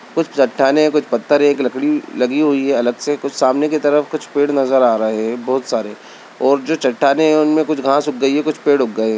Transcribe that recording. वहां कुछ चट्टानें हैं कुछ पत्थर हैं एक लकड़ी अलग से लगी हुई है सामने कुछ पेड़ दिख रहे हैं बहुत सारे हैं और चट्टानों के बीच में कुछ घास उगी हुई है और कुछ पेड़ उगे हुए हैं।